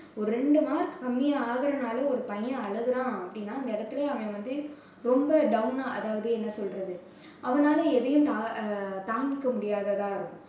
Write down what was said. ஒரு ரெண்டு mark கம்மியா ஆகுறதுனால ஒரு பையன் அழுகுறான் அப்படின்னா அந்த இடத்திலேயே அவன் வந்து ரொம்ப down ஆ அதாவது என்ன சொல்றது அவனால எதையும் தா~ தாங்கிக்க முடியாததா இருக்கும்.